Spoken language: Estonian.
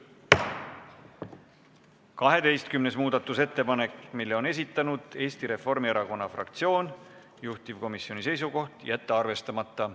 12. muudatusettepanek, mille on esitanud Eesti Reformierakonna fraktsioon, juhtivkomisjoni seisukoht: jätta arvestamata.